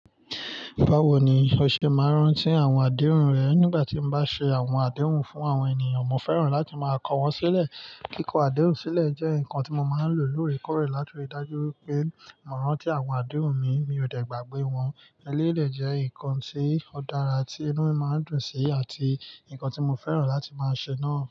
Báwo ni o ṣe máa rán tí àwọn àdéhùn rẹ nígbà tí mo bá ṣe àwọn àdéhùn fún àwọn ènìyàn, mo fẹ́ràn láti máa kọ wọ́n sílẹ̀. Kíkọ àdéhùn sílẹ̀ jẹ́ nǹkan tí mo máa ń lò lóòrèkóòrè láti rí i dájú wípé mo rán tí àwọn àdéhùn mi, mi ò dẹ̀ gbàgbé wọn. Eléyìí dẹ́ jẹ́ ǹkan tí ó dára tí inú máa ń dùn sí àti ǹkan tí mo fẹ́ràn láti máa ṣe náà.